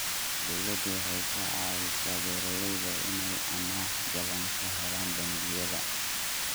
Dawladdu waxay ka caawisaa beeralayda inay amaah jaban ka helaan bangiyada.